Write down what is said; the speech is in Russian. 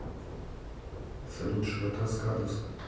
салют широта скадовск